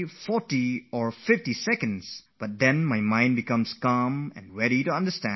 Not more than 50 seconds are spent on this but my mind is at rest and ready to be focused on matters at hand